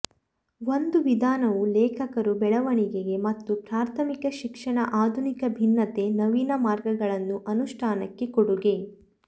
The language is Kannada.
ಒಂದು ವಿಧಾನವು ಲೇಖಕರು ಬೆಳವಣಿಗೆ ಮತ್ತು ಪ್ರಾಥಮಿಕ ಶಿಕ್ಷಣ ಆಧುನಿಕ ಭಿನ್ನತೆ ನವೀನ ಮಾರ್ಗಗಳನ್ನು ಅನುಷ್ಠಾನಕ್ಕೆ ಕೊಡುಗೆ